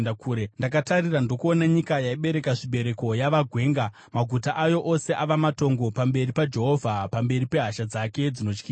Ndakatarira, ndokuona nyika yaibereka zvibereko yava gwenga; maguta ayo ose ava matongo pamberi paJehovha, pamberi pehasha dzake dzinotyisa.